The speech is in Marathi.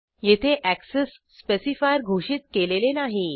येथे अॅक्सेस स्पेसिफायर घोषित केलेले नाही